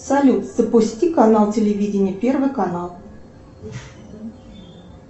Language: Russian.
салют запусти канал телевидения первый канал